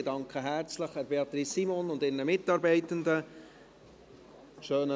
Ich danke Beatrice Simon und ihren Mitarbeitenden herzlich.